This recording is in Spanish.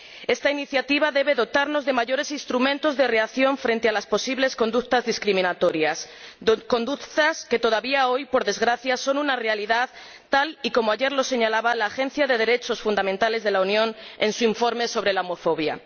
Esta iniciativa debe dotarnos de mayores instrumentos de reacción frente a las posibles conductas discriminatorias, conductas que todavía hoy, por desgracia, son una realidad, tal como ayer señalaba la Agencia de Derechos Fundamentales de la Unión en su informe sobre homofobia.